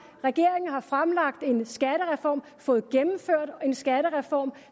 regeringen har fremlagt en skattereform fået gennemført en skattereform